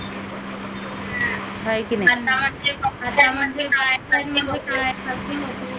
आहे की नाही